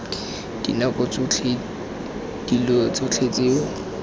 dinako tsotlhe dilo tsotlhe tseo